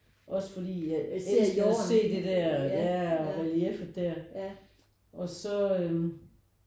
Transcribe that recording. Også fordi jeg elsker at se det der ja og relieffet der og så øh